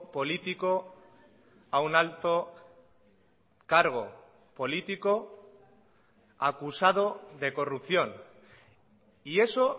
político a un alto cargo político acusado de corrupción y eso